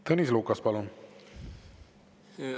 Tõnis Lukas, palun!